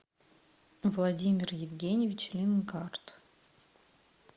владимир евгеньевич лингарт